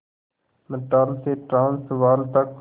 Natal से Transvaal तक